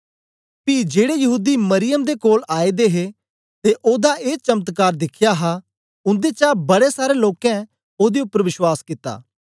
पी जेड़े यहूदी मरियम दे कोल आए दे हे ते ओदा ए चमत्कार दिखया हा उन्देचा बड़े सारें लोकें ओदे उपर बश्वास कित्ता